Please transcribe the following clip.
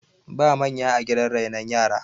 ba manya a gidan renon yara